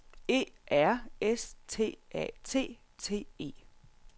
E R S T A T T E